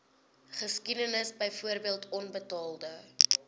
geskiedenis byvoorbeeld onbetaalde